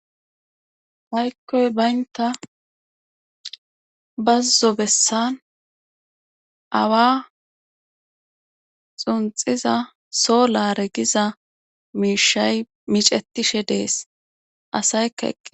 haykkoy baynta bazzo bessan awa xunxiza so laare giza miishay micetishe dees asaykka eqqe